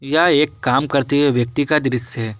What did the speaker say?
यह एक काम करते हुए व्यक्ति का दृश्य है।